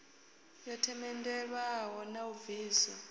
yo themendelwaho na u bviswa